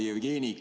Hea Jevgeni!